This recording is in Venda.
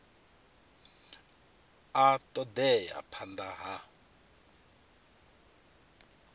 a ṱo ḓea phanḓa ha